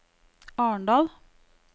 Arendal